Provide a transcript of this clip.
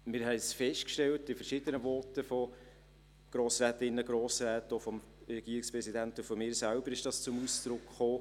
Wir haben es in verschiedenen Voten von Grossrätinnen und Grossräten festgestellt, und auch seitens des Regierungspräsidenten und meiner selbst kam es zum Ausdruck: